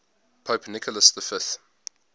pope nicholas v